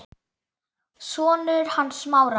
Sonur hans Smára.